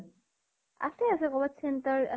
আছে আছে । কৰবাত center আছে